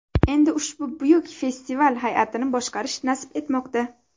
Endi ushbu buyuk festival hay’atini boshqarish nasib etmoqda.